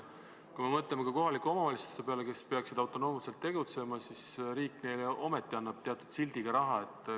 Kui me mõtleme kohalikele omavalitsustele, kes peaksid samjuti autonoomselt tegutsema, siis riik annab ometi neile teatud sildiga raha.